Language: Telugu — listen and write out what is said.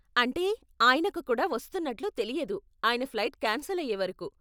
అంటే, ఆయనకు కూడా వస్తున్నట్లు తెలియదు, ఆయన ఫ్లైట్ కాన్సెల్ అయ్యే వరకు.